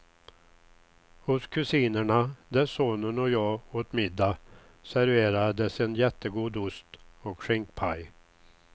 Hos kusinerna, där sonen och jag åt middag serverades en jättegod ost och skinkpaj.